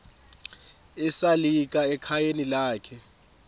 esalika ekhayeni lakhe